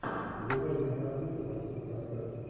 врубай киноработу по типу концерта